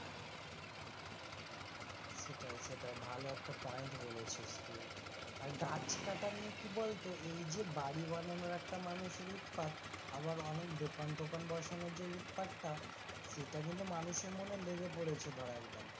সেটাই সেটাই ভালো একটা point বলেছিস তুই, আর গাছ কাটা নিয়ে কি বলতো এই যে বাড়ি বানানোর একটা মানুষের উৎপাত আবার অনেক দোকান টোকান বসানোর উৎপাতটা সেটা কিন্তু মানুষের মনে লেগে পড়েছে ধরা একদম,